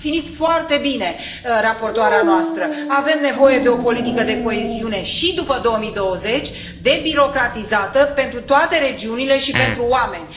A definit foarte bine raportoarea noastră avem nevoie de o politică de coeziune și după 2020, debirocratizată, pentru toate regiunile și pentru oameni.